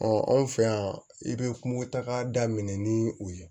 anw fɛ yan i bɛ kungotaga daminɛ ni o ye